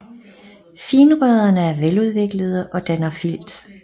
Finrødderne er veludviklede og danner filt